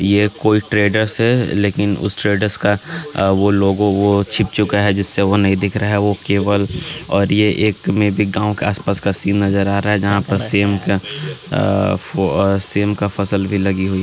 वे कोई ट्रेडर्स है। लेकिन उस ट्रेडर्स का वो लोगो वो छीप चुका है। जिससे वह नहीं दिख रहा है वो केवल और ये एक में भी गांव का आसपास का सीन नजर आ रहा है। जहां पर सीम का वो सीम का फसल भी लगी हुई --